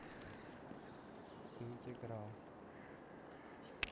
интеграл